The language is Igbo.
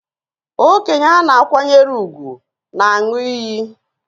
Okenye a na-akwanyere ùgwù na-aṅụ iyi